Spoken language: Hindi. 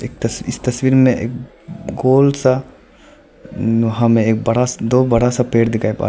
इस तस्वीर में गोल सा हमें एक बड़ा दो बड़ा सा पेड़ दिखाई पा रहा--